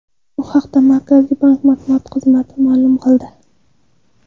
Bu haqda Markaziy bank matbuot xizmati ma’lum qildi.